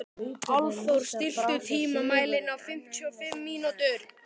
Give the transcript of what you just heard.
Álfþór, stilltu tímamælinn á fimmtíu og fimm mínútur.